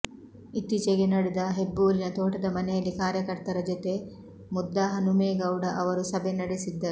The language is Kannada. ಇತ್ತೀಚೆಗೆ ನಡೆದ ಹೆಬ್ಬೂರಿನ ತೋಟದ ಮನೆಯಲ್ಲಿ ಕಾರ್ಯಕರ್ತರ ಜೊತೆ ಮುದ್ದಹನುಮೇಗೌಡ ಅವರು ಸಭೆ ನಡೆಸಿದ್ದರು